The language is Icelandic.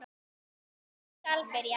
Hvar skal byrja.